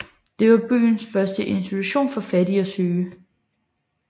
Det var byens første institution for fattige og syge